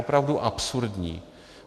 Opravdu absurdní.